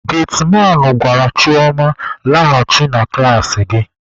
Getiman gwara Chioma, "laghachi na klasị gị!"